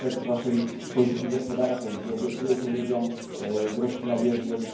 Macie efekt waszej polityki gospodarczej, gdzie obiecujecie ludziom gruszki na wierzbie.